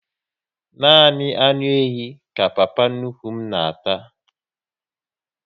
Nani anụ ehi ka papa nnukwu m na ata